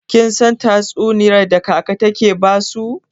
Kin san tatsuniyar da kaka take basu?